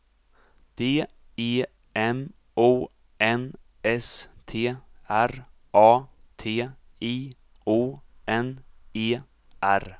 D E M O N S T R A T I O N E R